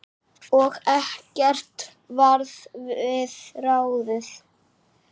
Og ekkert varð við ráðið.